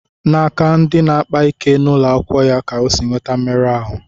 N'aka ndi na-akpa ike n'ụlọ akwụkwọ ya ka O sì nweta mmerụ ahụ